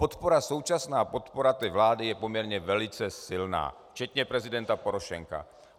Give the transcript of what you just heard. Podpora, současná podpora té vlády je poměrně velice silná, včetně prezidenta Porošenka.